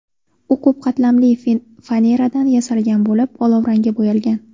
U ko‘p qatlamli faneradan yasalgan bo‘lib, olovrangga bo‘yalgan.